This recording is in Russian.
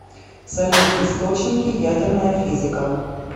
салют источники ядерная физика